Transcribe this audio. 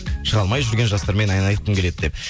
шыға алмай жүрген жастармен ән айтқым келеді деп